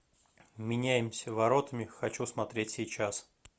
меняемся воротами хочу смотреть сейчас